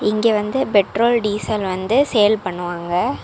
இங்க வந்து petrol diesel வந்து சேல் பண்ணுவாங்க.